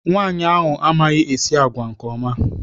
Nwaanyị amaghị-esi agwa nke ọma.